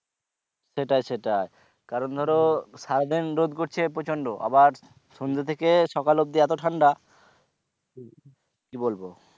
সেটাই সেটাই কারণ ধরো সারাদিন রোদ করছে প্রচন্ড আবার সন্ধ্যে থেকে সকাল অবধি এতো ঠান্ডা কি বলবো